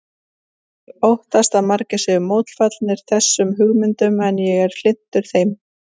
Ég óttast að margir séu mótfallnir þessum hugmyndum en ég er hlynntur þeim.